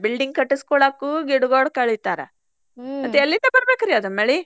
Building ಕಟ್ಟಸ್ಕೊಳಾಕು ಗಿಡಗೋಳ್ ಕಡಿತಾರ ಮತ್ತ್ ಎಲ್ಲಿಂದ ಬರ್ಬೇಕ್ರಿ ಅದ್ ಮಳಿ.